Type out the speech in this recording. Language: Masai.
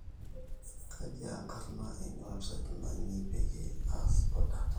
kejii aa enkarna eina website inyin peyieu aas oda tenakata